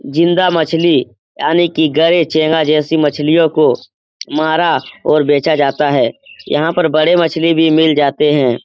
जिंदा मछली आने कि गरै चेंगा जैसी मछलियों को मारा और बेचा जाता है यहां पर बड़े मछली भी मिल जाते है।